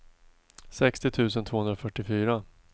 sextio tusen tvåhundrafyrtiofyra